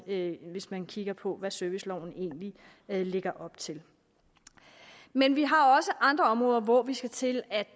det hvis man kigger på hvad serviceloven egentlig lægger op til men vi har også andre områder hvor vi skal til at